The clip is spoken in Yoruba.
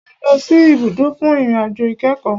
A lọ sì ibùdó fún ìrìn àjò ìkẹ́kọ̀.